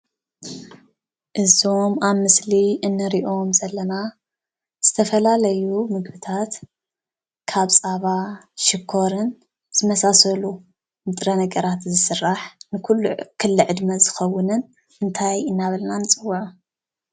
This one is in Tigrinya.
እዞም አብ ምስሊ እንሪኦም ዘለና ዝተፈላለዩ ምግብታት ካብ ፀባ ሽኮርን ዝመሳሰሉ ንጥረ ነገራት ዝስራሕ ንኩሉ ክለ ዕድመ ዝኸውንን እንታይ እናበልና ንፅዎዖ?